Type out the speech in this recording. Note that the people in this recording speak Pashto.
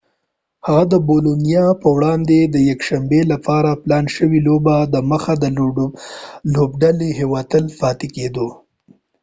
هغه د بولونیا په وړاندې د یکشنبي لپاره پلان شوي لوبي دمخه د لوبډلیهوټل کې پاتې کیدو